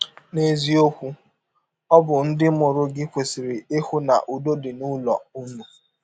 N’eziọkwụ, ọ bụ ndị mụrụ gị kwesịrị ịhụ na ụdọ dị n’ụlọ ụnụ.